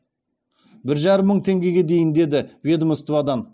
бір жарым мың теңгеге дейін деді ведомстводан